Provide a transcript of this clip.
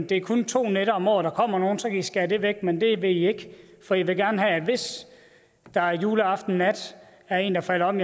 det kun er to nætter om året der kommer nogen og så kan i skære det væk men det vil i ikke for i vil gerne have at der hvis der juleaftensnat er en der falder om